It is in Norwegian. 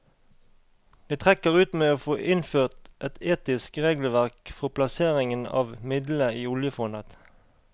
Det trekker ut med å få innført et etisk regelverk forplasseringen av midlene i oljefondet.